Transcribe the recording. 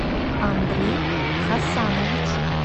андрей хасанович